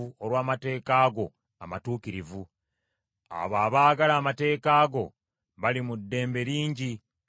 Abo abaagala amateeka go bali mu ddembe lingi; tewali kisobola kubeesittaza.